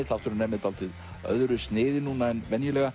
þátturinn er með dálítið öðru sniði en venjulega